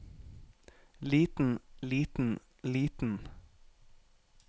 liten liten liten